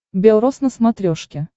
бел роз на смотрешке